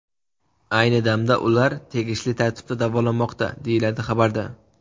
Ayni damda ular tegishli tartibda davolanmoqda”, deyiladi xabarda.